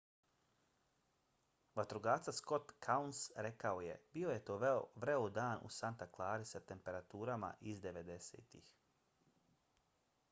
vatrogasac scott kouns rekao je bio je to vreo dan u santa clarii sa temperaturama iz 90-ih